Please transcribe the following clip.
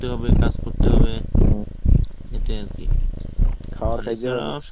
ব্যায়াম করতে হবে কাজ করতে হবে এটাই আর কি.